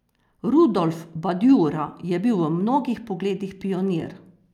Rudolf Badjura je bil v mnogih pogledih pionir.